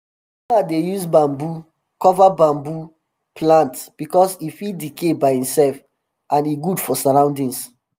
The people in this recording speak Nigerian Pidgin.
d farmer dey use bamboo cover bamboo cover plant because e fit decay by imself and e good for surroundings